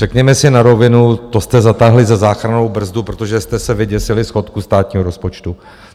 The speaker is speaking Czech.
Řekněme si na rovinu, to jste zatáhli za záchrannou brzdu, protože jste se vyděsili schodku státního rozpočtu.